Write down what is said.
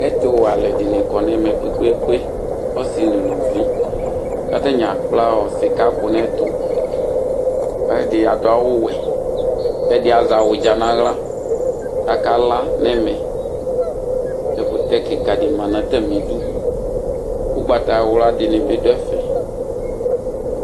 Ɛtʋwɛ alʋ ɛdini kɔnʋ ɛmɛ kpe kpe kpe ɔsi nʋ ʋlvvi kʋ atani akpla sika kʋ nʋ ɛtʋ kʋ ɛdi adʋ awʋwɛ kʋ ɛdi azɛ awʋdza nʋ aɣla kʋ akala nʋ ɛmɛ ɛkʋtɛ kika di manʋ atami idʋ ʋgbatawla dini be dʋ ɛfɛ